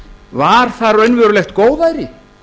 var það raunverulegt góðæri